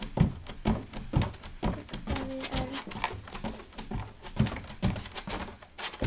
hugsaði Örn.